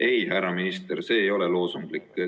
Ei, härra minister, see ei ole loosunglik.